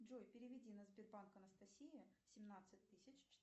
джой переведи на сбербанк анастасия семнадцать тысяч